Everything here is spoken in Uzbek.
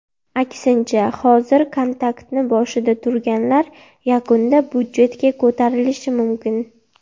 Aksincha, hozir kontraktni boshida turganlar yakunda budjetga ko‘tarilishi mumkin.